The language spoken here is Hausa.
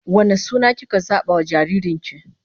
Wane suna kika zaba wa jaririn ki?